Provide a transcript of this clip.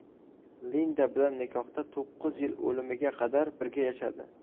Linda bilan nikohda to‘qqiz yil o‘limiga qadar birga yashadi.